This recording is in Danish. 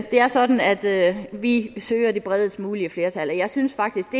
det er sådan at vi søger det bredest mulige flertal og jeg synes faktisk